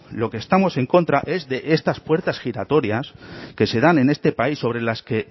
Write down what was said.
lo que estamos en contra es de estas puertas giratorias que se dan en este país sobre las que